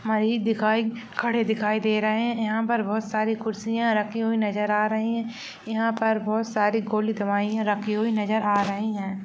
खाई दिखाई खड़े दिखाई दे रहे हैंयहाँ पर बहुत सारी कुर्सियाँ रखे हुए नजर आ रहे हैं यहाँ पर बहुत सारि गोली दवाईया रखी हुई नजर आ रही हैं।